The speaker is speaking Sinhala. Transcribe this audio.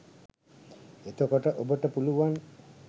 එතකොට ඔබට පුළුවන්